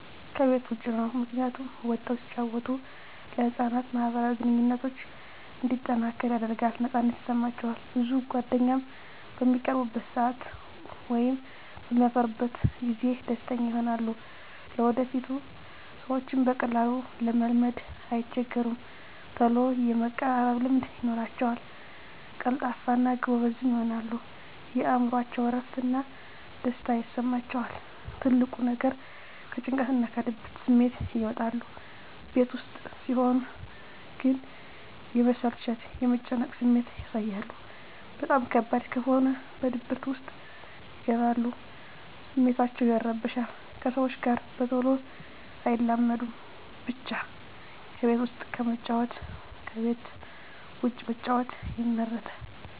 ከቤት ዉጭ ነዉ ምክንያቱም ወጠዉ ሲጫወቱ ለህፃናት ማህበራዊ ግንኙነቶች እንዲጠናከር ያደርጋል ነፃነት ይሰማቸዋል ብዙ ጓደኛም በሚቀርቡበት ሰአት ወይም በሚያፈሩበት ጊዜ ደስተኛ ይሆናሉ ለወደፊቱ ሰዎችን በቀላሉ ለመልመድ አይቸገሩም ተሎ የመቀራረብ ልምድ ይኖራቸዉል ቀልጣፋ እና ጎበዝም ይሆናሉ የእምሮአቸዉ እረፍት እና ደስታ ይሰማቸዋል ትልቁ ነገር ከጭንቀትና ከድብርት ስሜት ይወጣሉ ቤት ዉስጥ ሲሆን ግን የመሰላቸት የመጨነቅ ስሜት ያሳያሉ በጣም ከባድ በሆነ ድብርት ዉስጥ ይገባሉ ስሜታቸዉ ይረበሻል ከሰዎች ጋር በተሎ አይላመዱም ብቻ ከቤት ዉስጥ ከመጫወት ከቤት ዉጭ መጫወት ይመረጣል